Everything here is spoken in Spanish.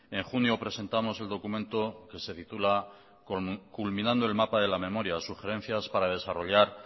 en junio presentamos el documento que se titula culminando el mapa de la memoria sugerencias para desarrollar